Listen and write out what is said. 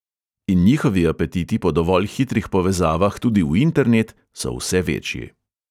In njihovi apetiti po dovolj hitrih povezavah tudi v internet, so vse večji ...